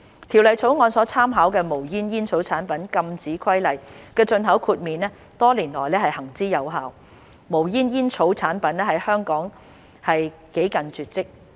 《條例草案》所參考的《無煙煙草產品規例》的進口豁免多年來行之有效，無煙煙草產品在香港幾近絕跡。